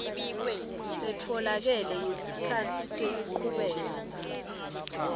letfolakele ngesikhatsi sekuchubeka